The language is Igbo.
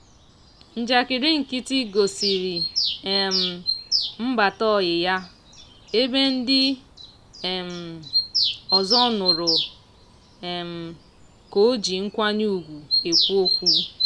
njakịrị nkịtị gosiri um mbata ọyị ya ebe ndị um ọzọ nụrụ um ka o ji nkwanye ugwu ekwu okwu.